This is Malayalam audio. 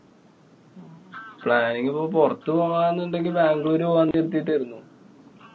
planning പ്പൊ പോരത്തുപോവാന്നുണ്ടെകില്‍ ബംഗ്ലൂര്‍ പോവാന്നു കരുതിട്ടായിരുന്നു.